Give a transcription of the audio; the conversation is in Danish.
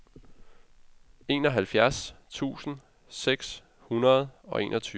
enoghalvfjerds tusind seks hundrede og enogtyve